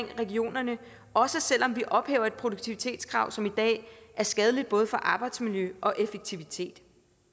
regionerne også selv om vi ophæver et produktivitetskrav som i dag er skadeligt både for arbejdsmiljø og effektivitet